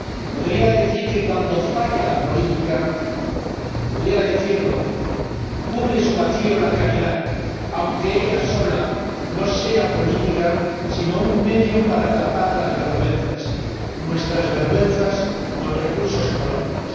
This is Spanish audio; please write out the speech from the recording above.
Podría decir que, cuando falla la política podría decirlo, cubre su vacío la caridad, aunque ella sola no sea política, sino un medio para tapar las vergüenzas nuestras vergüenzas con recursos económicos.